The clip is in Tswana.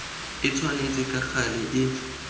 e tshwanetse ka gale e